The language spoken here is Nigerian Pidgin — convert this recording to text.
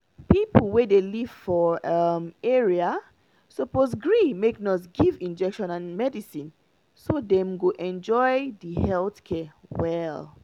people wey dey live for um area suppose gree make nurse give injection and medicine so dem go dey enjoy di health care well.